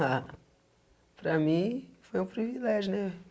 Ah, para mim foi um privilégio, né?